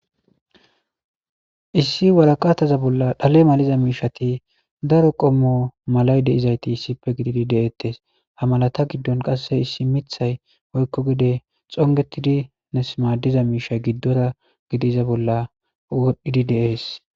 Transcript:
Issi woraqata bolla dhale malatiza daro qomo malati dizayiti issippe gididi de,etes ha malata gidon issi mithayi woyiko pude xongetidi madiza mishayi gidora gidiza bolla woxizi dee,es